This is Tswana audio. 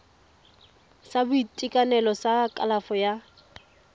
sa boitekanelo sa kalafo ya